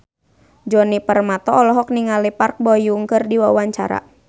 Djoni Permato olohok ningali Park Bo Yung keur diwawancara